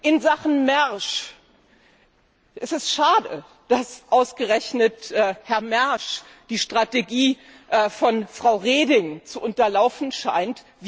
In Sachen Mersch Es ist schade, dass ausgerechnet Herr Mersch die Strategie von Frau Reding zu unterlaufen scheint.